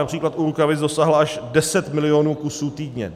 Například u rukavic dosáhla až 10 milionů kusů týdně.